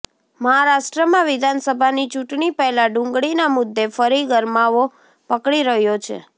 મહારાષ્ટ્રમાં વિધાનસભાની ચૂંટણી પહેલા ડુંગળીના મુદ્દે ફરી ગરમાવો પકડી રહ્યો છે